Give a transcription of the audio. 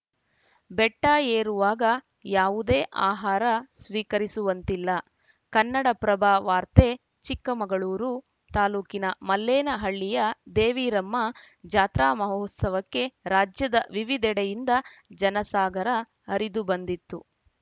ಬೆಟ್ಟಏರುವಾಗ ಯಾವುದೇ ಆಹಾರ ಸ್ವೀಕರಿಸುವಂತಿಲ ಕನ್ನಡಪ್ರಭ ವಾರ್ತೆ ಚಿಕ್ಕಮಗಳೂರು ತಾಲೂಕಿನ ಮಲ್ಲೇನಹಳ್ಳಿಯ ದೇವಿರಮ್ಮ ಜಾತ್ರಾ ಮಹೋತ್ಸವಕ್ಕೆ ರಾಜ್ಯದ ವಿವಿಧೆಡೆಯಿಂದ ಜನಸಾಗರ ಹರಿದು ಬಂದಿತು